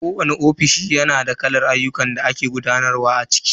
Kowani ofishi na da kalar ayyukan da ake gudanarwa a ciki.